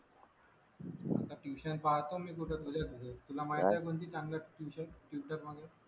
आता टयूशन पाहतो मी कुठे तुझ्या तुला माहित आहे का कोणती चांगली आहे टयूशन मध्ये